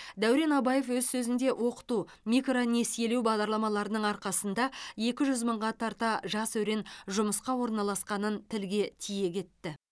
дәурен абаев өз сөзінде оқыту микронесиелеу бағдарламаларының арқасында екі жүз мыңға тарта жас өрен жұмысқа орналасқанын тілге тиек етті